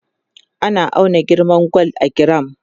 ana auna girman gwal a giram